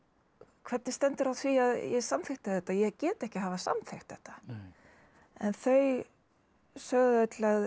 hvernig stendur á því að ég samþykkti þetta ég get ekki hafa samþykkt þetta en þau sögðu öll að